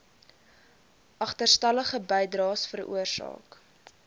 agterstallige bydraes veroorsaak